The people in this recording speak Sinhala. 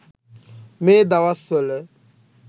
මේ දවස්වල